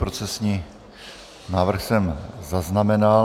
Procesní návrh jsem zaznamenal.